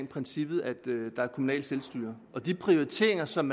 princippet at der er kommunalt selvstyre de prioriteringer som